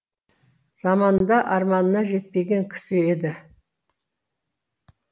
заманында арманына жетпеген кісі еді